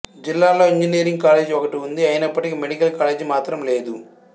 జిల్లాలో engineering college ఒకటి ఉంది అయినప్పటికీ మెడికల్ కాలేజి మాత్రం లేదు